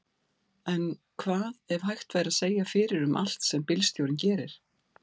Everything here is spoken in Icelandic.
En hvað ef hægt væri að segja fyrir um allt sem bílstjórinn gerir?